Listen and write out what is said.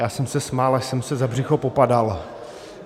Já jsem se smál, až jsem se za břicho popadal.